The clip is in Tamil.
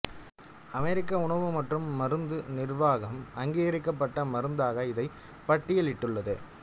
அமெரிக்க உணவு மற்றும் மருந்து நிர்வாகம் அங்கீகரிக்கப்பட்ட மருந்தாக இதை பட்டியலிட்டுள்ளது